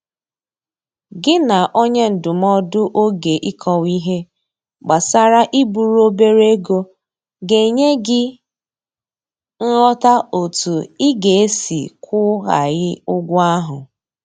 Gị na onye ndụmọdụ oge Ịkọwa ihe gbasara iburu obere ego ga enye gị nghọta otu ị ga-esi kwụ ghaghị ụgwọ ahụ.